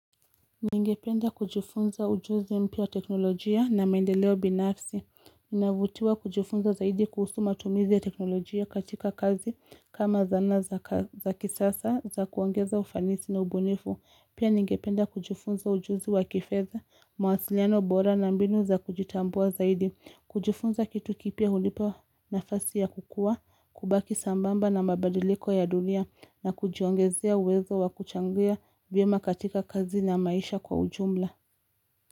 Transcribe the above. Ningependa kujifunza ujuzi mpya wa teknolojia na maendeleo binafsi. Ninavutiwa kujifunza zaidi kuhusu matumizi ya teknolojia katika kazi kama zana za kisasa za kuongeza ufanisi na ubunifu. Pia ningependa kujifunza ujuzi wa kifedha, mawasiliano bora na mbinu za kujitambua zaidi. Kujifunza kitu kipya hunipa nafasi ya kukuwa, kubaki sambamba na mabadiliko ya dunia na kujiongezea uwezo wa kuchangia vyema katika kazi na maisha kwa ujumla.